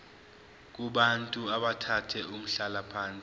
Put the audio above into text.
kubantu abathathe umhlalaphansi